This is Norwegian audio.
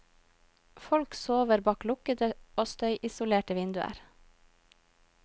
Folk sover bak lukkede og støyisolerte vinduer.